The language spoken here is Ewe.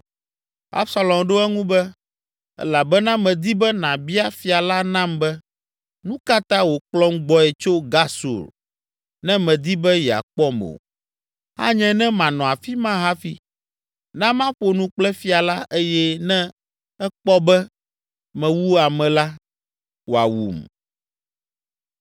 Absalom ɖo eŋu be, “Elabena medi be nàbia fia la nam be, nu ka ta wòkplɔm gbɔe tso Gesur ne medi be yeakpɔm o? Anye ne manɔ afi ma hafi. Na maƒo nu kple fia la eye ne ekpɔ be mewu ame la, wòawum.”